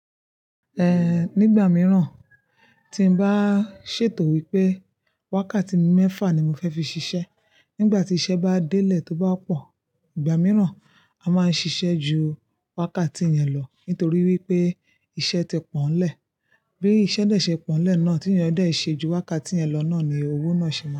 Nígbà mìíràn tí ń bá ṣètò wípé wákàtí mẹ́fà ni mo fẹ́ fi ṣiṣẹ́, nígbà tí iṣẹ́ bá délé tó bá pọ̀, ìgbà mìíràn a máa ń ṣiṣẹ́ ju wákàtí yẹn lọ nítorí wípé iṣẹ́ ti pọ̀nlẹ́. Bí iṣẹ́ dé ṣe pọ̀nlẹ́ náà, tí ìyẹn dé ṣe ju wákàtí yẹn lọ náà ni owó náà ṣe máa.